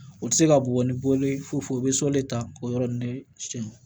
O tɛ se ka bugɔ ni bɔli ye fo fo bɛ sɔli ta k'o yɔrɔ ni siyɛn